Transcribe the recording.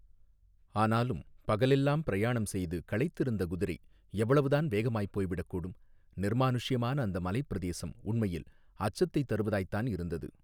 ஆனாலும் பகலெல்லாம் பிரயாணம் செய்து களைத்திருந்த குதிரை எவ்வளவுதான் வேகமாய்ப் போய்விடக் கூடும் நிர்மானுஷ்யமான அந்த மலைப் பிரதேசம் உண்மையில் அச்சத்தைத் தருவதாய்த்தான் இருந்தது.